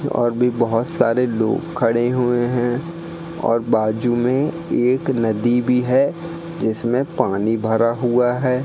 और भी बहोत सारे लोग खड़े हुए हैं और बाजू में एक नदी भी है जिसमें पानी भरा हुआ है।